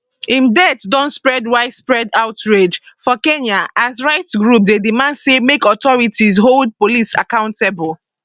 im death don spark widespread outrage for kenya as rights groups dey demand say make authorities hold police accountable